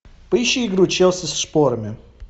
поищи игру челси с шпорами